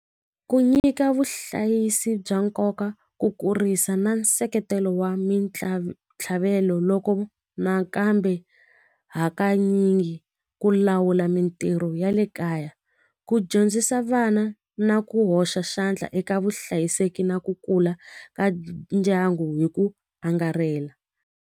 Ku nyika vuhlayisi bya nkoka ku kurisa na nseketelo wa ntlhavelo loko nakambe hakanyingi ku lawula mitirho ya le kaya ku dyondzisa vana na ku hoxa xandla eka vuhlayiseki na ku kula ka ndyangu hi ku angarhela.